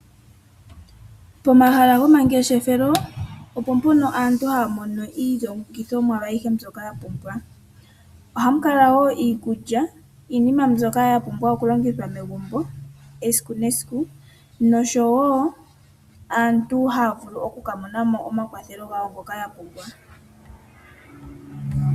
Pomahala gomangeshefelo opo mpono aantu haya mono iilongithomwa ayihe mbyoka yapumbwa. Ohamu kala woo iikulya iinima mbyoka yapumbwa okulongithwa megumbo esiku nesiku noshowo aantu ohaya vulu oku ka mona mo omakwathelo gawo ngoka yapumbwa.